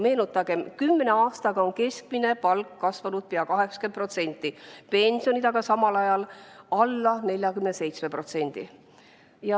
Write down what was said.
Meenutagem: kümne aastaga on keskmine palk kasvanud pea 80%, pensionid aga samal ajal alla 47%.